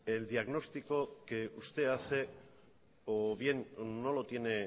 el diagnóstico que usted hace o bien no lo tiene